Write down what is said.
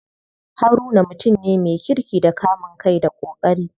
Haruna mutum ne me kirki da kamun kai da ƙoƙari.